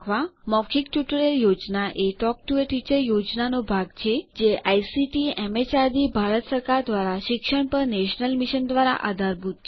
મૌખિક ટ્યુટોરીયલ યોજના talk to a teacher યોજનાનો ભાગ છે જે આઇસીટીએમએચઆરડીભારત સરકાર દ્વારા શિક્ષણ પર નેશનલ મિશન દ્વારા આધારભૂત છે